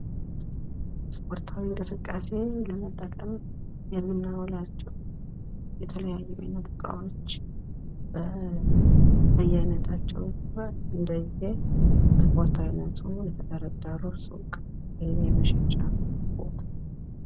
እስፖርታዊ እንቅስቃሴ ለመጠቀም የምናውላቸው የተለያዩ የቤት እቃዎች በያይነታቸው ወይም እንደየ እስፖርቱ አይነት ተደርድረው የሚገኙበት መሸጫ ሱቅ።